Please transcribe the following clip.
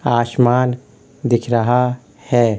आसमान दिख रहा है।